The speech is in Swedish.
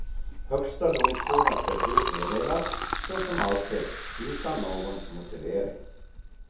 Högsta domstolens beslut meddelas, såsom alltid, utan någon motivering.